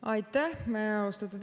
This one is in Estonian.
Aitäh, austatud esimees!